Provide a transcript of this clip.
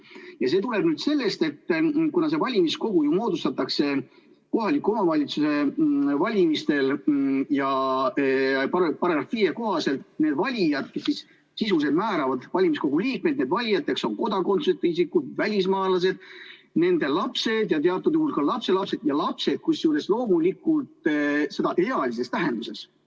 Ja see tuleneb sellest, et kuna valimiskogu moodustatakse kohaliku omavalitsuse valimistel ja § 5 kohaselt, siis valijad sisuliselt määravad valimiskogu liikmed, nii et valijateks on kodakondsuseta isikud, välismaalased, nende lapsed ja teatud juhul ka lapselapsed, kusjuures lapsed loomulikult ealises tähenduses.